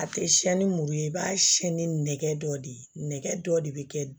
A tɛ siyɛn ni muru ye i b'a siyɛ ni nɛgɛ dɔ de ye nɛgɛ dɔ de bɛ kɛ